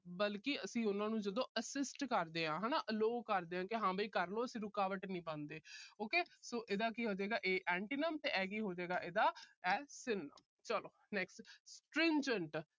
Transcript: ਬਲਕਿ ਅਸੀਂ ਜਦੋਂ ਉਹਨਾਂ ਨੂੰ assist ਕਰਦੇ ਹਾਂ। allow ਕਰਦੇ ਹਾਂ। ਵੀ ਹਾਂ ਵੀ ਕਰ ਲੋ, ਅਸੀਂ ਰੁਕਾਵਟ ਨਹੀਂ ਪਾਂਦੇ। ok so ਇਹਦਾ ਕੀ ਹੋਜੇਗਾ A antonyms ਤੇ ਆਹ ਕੀ ਹੋਜੇਗਾ ਇਹਦਾ synonyms ਚਲੋ। next stringent